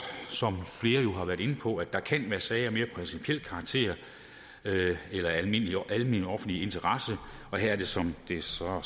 som flere jo har været inde på at der kan være sager af mere principiel karakter eller almen eller almen offentlig interesse og her er det som det så